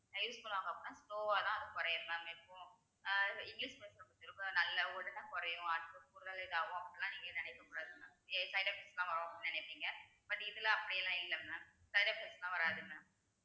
ஆகாம slow வா தான் அது குறையும் mam இப்போ அஹ் இங்கிலிஷ் medicine நல்ல உடனே குறையும் அப்படி எல்லாம் நீங்க நினைக்ககூடாது mam side effects வரும் அப்படினு நெனைப்பிங்க but இதுல அப்படிலாம் இல்ல mam side effects லாம் வராது mam